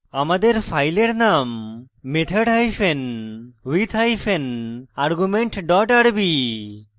আমাদের ফাইলের নাম method hyphen with hyphen argument dot rb